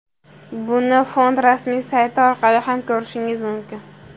Buni fond rasmiy sayti orqali ham ko‘rishimiz mumkin.